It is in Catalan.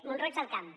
mont roig del camp